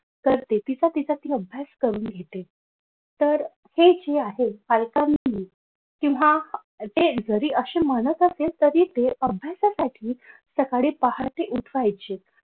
तर ते तिचा तिचा अभ्यास करून घेते तर हे जे आहे किंवा हे जे असे म्हणत असेल तरी ते अभ्यासासाठी सकाळी पहाटे उठवायचे.